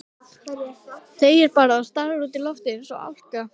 Þegir bara og starir út í loftið eins og álka.